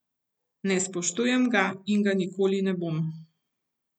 Ne spoštujem ga in ga nikoli ne bom.